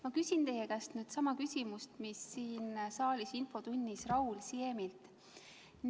Ma küsin teie käest sama küsimuse, mille siin saalis infotunnis Raul Siemilt.